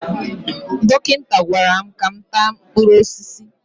Dọkịta gwara m ka m taa mkpụrụ osisi